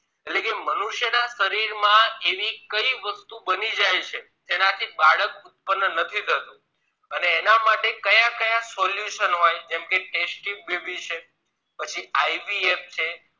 એટલે કે મનુષ્ય ના શરીર માં એવી કઈ વસ્તુ બની જાય છે જેનાથી બાળક ઉત્પન નથી થતું અને એના માટે કયા કયા solution હોય જેમ કે test tube baby છે પછી IVF